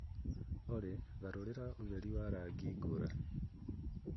Olly garũrĩra ũtheri wa rangi ngũrani